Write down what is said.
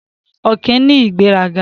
Ọ̀kín ní ìgbéraga.